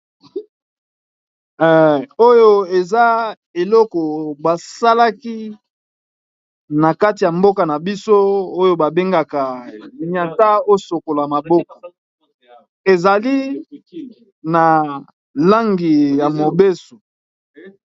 Oyo eza eloko basalaki na kati ya mboka na biso oyo babengaka nyata osokola maboko ezali na langi ya mobeso.